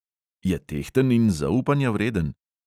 Je tehten in zaupanja vreden?